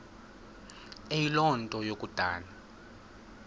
eyiloo nto kukodana